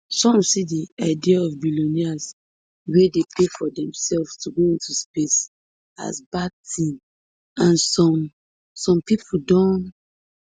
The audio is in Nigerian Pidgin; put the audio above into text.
some see di idea of billionaires wey dey pay for demsefs to go into space as bad tin and some some pipo donn